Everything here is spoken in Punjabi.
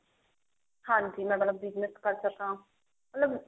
ਹਾਂਜੀ ਮਤਲਬ business ਕਰ ਸਕਾਂ ਮਤਲਬ